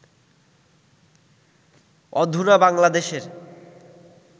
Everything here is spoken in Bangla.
অধুনা বাংলাদেশের